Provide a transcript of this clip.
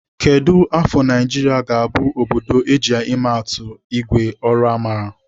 Kedụ afọ Naijiria ga-abụ obodo eji ịmepụta ìgwè ọrụ mara?